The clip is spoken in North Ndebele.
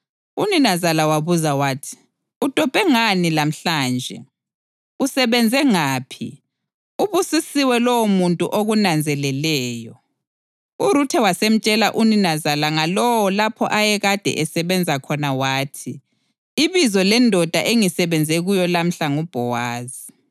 Uninazala wabuza wathi, “Udobhe ngaphi lamhlanje? Usebenze ngaphi? Ubusisiwe lowomuntu okunanzeleleyo!” URuthe wasemtshela uninazala ngalowo lapho ayekade esebenza khona wathi, “Ibizo lendoda engisebenze kuyo lamhla nguBhowazi.”